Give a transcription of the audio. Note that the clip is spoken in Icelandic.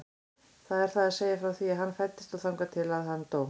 Það er að segja frá því að hann fæddist og þangað til að hann dó.